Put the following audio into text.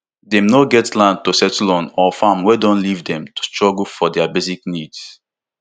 dem no get land to settle on or farm wey don leave dem to struggle for dia basic needs